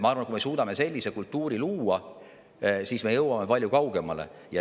Ma arvan, et kui me suudame luua sellise kultuuri, siis me jõuame palju kaugemale.